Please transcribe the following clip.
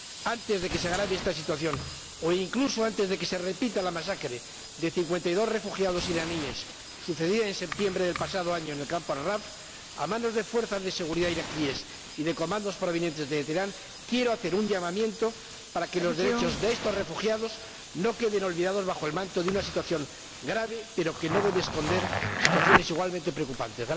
Antes de que se agrave esta situación, o incluso antes de que se repita la masacre de cincuenta y dos refugiados iraníes, sucedida en septiembre del pasado año en el campo Ashraf a manos de fuerzas de seguridad iraquíes y de comandos provenientes de Teherán, quiero hacer un llamamiento para que los derechos de estos refugiados no queden olvidados bajo el manto de una situación grave pero que no debe esconder situaciones igualmente preocupantes.